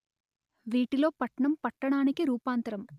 వీటిలో పట్నం పట్టణానికి రూపాంతరం